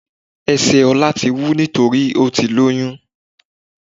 Esè Ọlá ti wú nítorípé ó ti lóyún